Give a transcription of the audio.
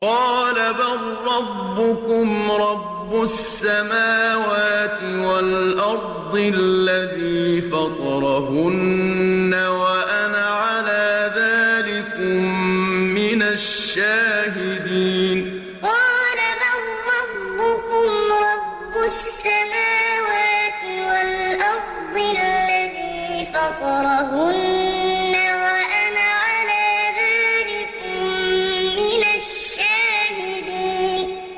قَالَ بَل رَّبُّكُمْ رَبُّ السَّمَاوَاتِ وَالْأَرْضِ الَّذِي فَطَرَهُنَّ وَأَنَا عَلَىٰ ذَٰلِكُم مِّنَ الشَّاهِدِينَ قَالَ بَل رَّبُّكُمْ رَبُّ السَّمَاوَاتِ وَالْأَرْضِ الَّذِي فَطَرَهُنَّ وَأَنَا عَلَىٰ ذَٰلِكُم مِّنَ الشَّاهِدِينَ